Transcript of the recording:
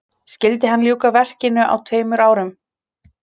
Skyldi hann ljúka verkinu á tveimur árum.